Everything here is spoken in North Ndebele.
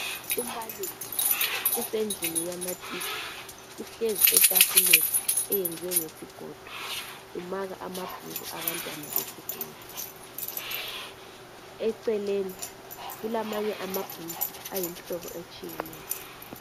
Umbalisi usendlini yamatitsha uhlezi etafuleni eyenziwe ngesigodo umaka amabhuku abantwana besikolo. Eceleni kulamanye amabhuku ayimihlobo etshiyeneyo.